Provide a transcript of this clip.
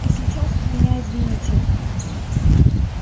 а сейчас вы меня извините